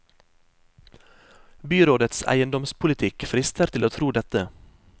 Byrådets eiendomspolitikk frister til å tro dette.